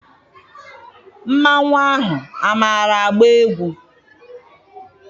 Mmanwụ ahụ amaara agba egwu?